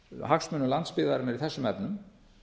hagsmunum landsbyggðarinnar í þessum efnum